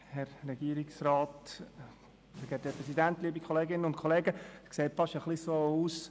Es sieht fast wie die «glp gegen alle» aus.